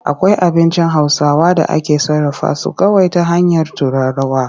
Akwai abincin Hausawa da ake sarrafa su kawai ta hanyar turarawa.